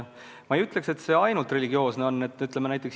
Ma ei ütleks, et see ainult religioossusega seotud on olnud.